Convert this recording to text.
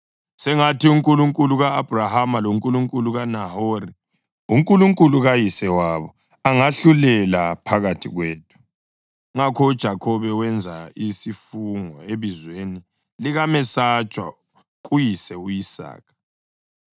Sengathi uNkulunkulu ka-Abhrahama, loNkulunkulu kaNahori, uNkulunkulu kayise wabo angahlulela phakathi kwethu.” Ngakho uJakhobe wenza isifungo ebizweni likaMesatshwa kayise u-Isaka.